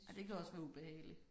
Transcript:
Ej det kan også være ubehageligt